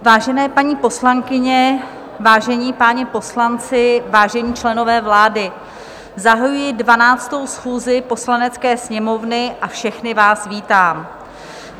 Vážené paní poslankyně, vážení páni poslanci, vážení členové vlády, zahajuji 12. schůzi Poslanecké sněmovny a všechny vás vítám.